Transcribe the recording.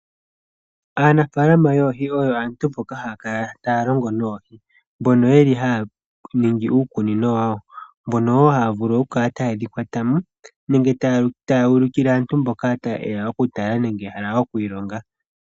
Aanafaalama yoohi oyo aantu mboka haya kala taya longo noohi, mbono yeli haya ningi uukunino wa wo, mbono woo haya vulu oku kala taye dhi kwata mo, nenge taya ulukile aantu mboka taye ya oku tala nenge okwiilonga.